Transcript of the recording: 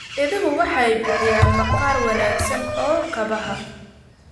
Idaha waxay bixiyaan maqaar wanaagsan oo kabaha.